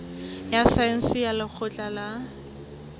ya saense ya lekgotleng la